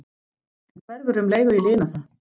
En hverfur um leið og ég lina það.